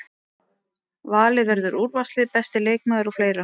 Valið verður úrvalslið, besti leikmaður og fleira.